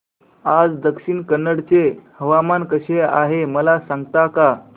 आज दक्षिण कन्नड चे हवामान कसे आहे मला सांगता का